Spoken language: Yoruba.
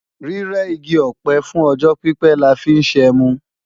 Rírẹ igi ọ̀pẹ fún ọjọ́ pípé la fi ń ṣẹmu